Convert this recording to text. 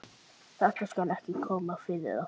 Þetta skal ekki koma fyrir aftur.